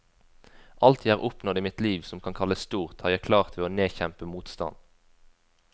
Alt jeg har oppnådd i mitt liv som kan kalles stort, har jeg klart ved å nedkjempe motstand.